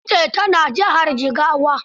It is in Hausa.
Dutse ta na jihar Jigawa.